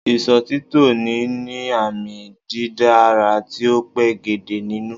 Ìsòtítọ́ ni níní àmì dídára tí ó pegedé nínú